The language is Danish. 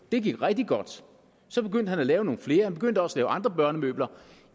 det gik rigtig godt så begyndte han at lave nogle flere han begyndte også at lave andre børnemøbler